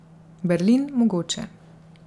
Berlin mogoče.